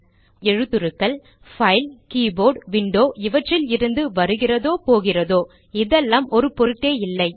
உண்மையில் எழுத்துருக்கள் file keyboard window இவற்றில் இருந்து வருகிறதோ போகிறதோ இதெல்லாம் ஒரு பொருட்டே இல்லை